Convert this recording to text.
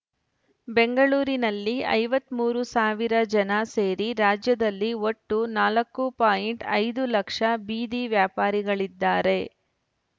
ಬೆಂಗಳೂರಿನಲ್ಲಿ ಐವತ್ತ್ ಮೂರು ಸಾವಿರ ಜನ ಸೇರಿ ರಾಜ್ಯದಲ್ಲಿ ಒಟ್ಟು ನಾಲ್ಕು ಪಾಯಿಂಟ್ ಐದು ಲಕ್ಷ ಬೀದಿ ವ್ಯಾಪಾರಿಗಳಿದ್ದಾರೆ